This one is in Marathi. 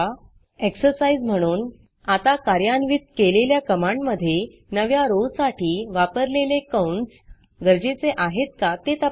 exerciseएक्सर्साइज़ म्हणून आत्ता कार्यान्वित केलेल्या कमांडमधे नव्या rowरो साठी वापरलेले कंस गरजेचे आहेत का ते तपासा